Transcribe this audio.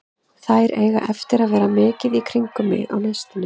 Þær eiga eftir að vera mikið í kringum mig á næstunni.